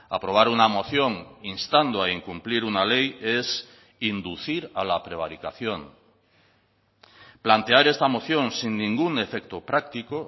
aprobar una moción instando a incumplir una ley es inducir a la prevaricación plantear esta moción sin ningún efecto práctico